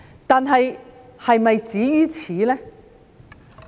但是，是否止於此呢？